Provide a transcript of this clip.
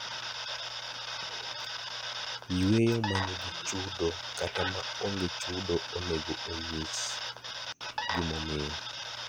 Yueyo ma nigi chudo kata ma onge chudo onego onyis gimomiyo.